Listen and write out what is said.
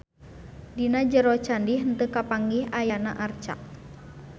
Dina jero candi henteu kapanggih ayana arca.